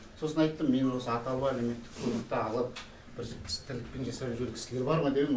сосын айттым мен осы атаулы әлеуметтік көмекті алып бір іс тірлікпен жасап жүрген кісілер бар ма деп ем